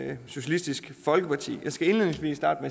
af socialistisk folkeparti jeg skal indledningsvis starte